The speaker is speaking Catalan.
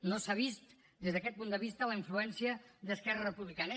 no s’ha vist des d’aquest punt de vista la influència d’esquerra republicana